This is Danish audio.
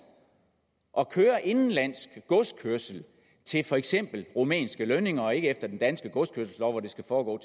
at køre indenlandsk godskørsel til for eksempel rumænske lønninger og ikke efter den danske godskørselslov hvor det skal foregå